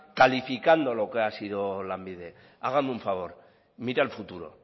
calificando lo que ha sido lanbide hágame un favor mire al futuro